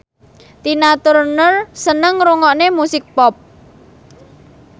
Tina Turner seneng ngrungokne musik pop